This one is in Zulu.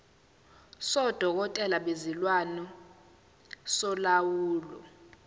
sodokotela bezilwane solawulo